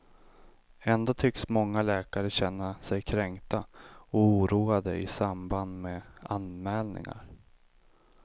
Ändå tycks många läkare känna sig kränkta och oroade i samband med anmälningar.